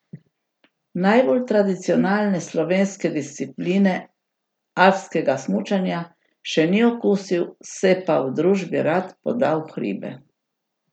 Najbolj tradicionalne slovenske discipline, alpskega smučanja, še ni okusil, se pa v družbi rad poda v hribe.